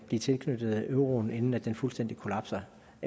blive tilknyttet euroen inden den fuldstændig kollapser